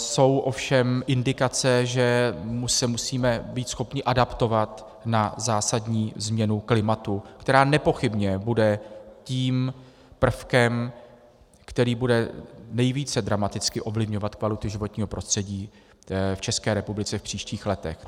Jsou ovšem indikace, že se musíme být schopni adaptovat na zásadní změnu klimatu, která nepochybně bude tím prvkem, který bude nejvíce dramaticky ovlivňovat kvalitu životního prostředí v České republice v příštích letech.